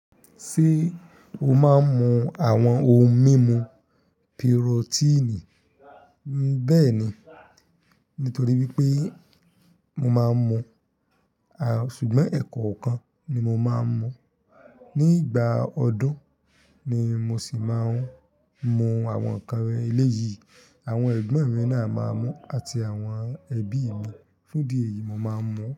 Ṣé o máa ń mu àwọn ohun mímu pirotíìnì? Bẹ́ẹ̀ ni, nítorí pé mo máa ń mu, à, ṣùgbọ́n ẹ̀kọ̀ kan ni mo máa ń mu. Ní ìgbà ọdún ni mo sì máa ń mu àwọn nnkan eléyìí. Àwọn ẹ̀gbọ́n mi náà máa ń mu àti àwọn ẹbí mi. Fún idi eyìí, mo máa ń mu.